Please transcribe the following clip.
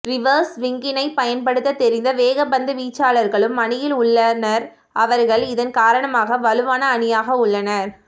reverse ஸ்விங்கினை பயன்படுத்த தெரிந்த வேகப்பந்து வீச்சாளர்களும் அணியில் உள்ளனர் அவர்கள் இதன் காரணமாக வலுவான அணியாக உள்ளனர்